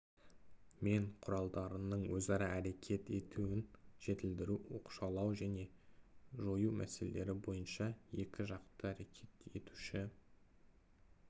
мен құралдарының өзара әрекет етуін жетілдіру оқшаулау және жою мәселелері бойынша екі жақты әрекет етуші